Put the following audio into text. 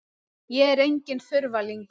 Ég er enginn þurfalingur.